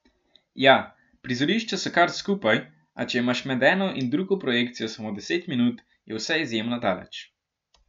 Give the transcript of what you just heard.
Ja, prizorišča so kar skupaj, a če imaš med eno in drugo projekcijo samo deset minut, je vse izjemno daleč.